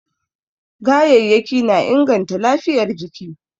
gayayyaki na inganta lafiyar jiki